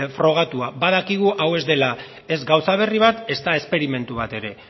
frogatua badakigu hau ez dela ez gauza berri bat ezta esperimentu bat ere